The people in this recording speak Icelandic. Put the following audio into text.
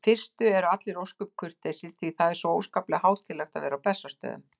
fyrstu eru allir ósköp kurteisir því það er svo óskaplega hátíðlegt að vera á Bessastöðum.